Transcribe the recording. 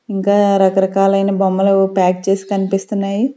ఇంకా రకరకాలైన బొమ్మలు ప్యాక్ చేసి కనిపిస్తున్నాయి.